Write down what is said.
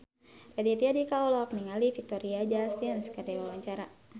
Raditya Dika olohok ningali Victoria Justice keur diwawancara